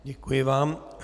Děkuji vám.